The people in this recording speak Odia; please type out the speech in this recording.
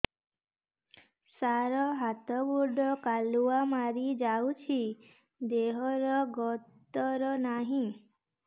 ସାର ହାତ ଗୋଡ଼ କାଲୁଆ ମାରି ଯାଉଛି ଦେହର ଗତର ନାହିଁ